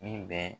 Ni bɛ